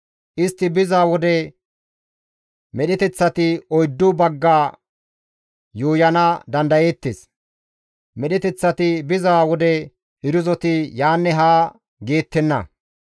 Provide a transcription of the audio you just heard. Istti biza wode medheteththati oyddu bagga yuuyana dandayeettes; medheteththati biza wode irzoti yaanne haa geettenna.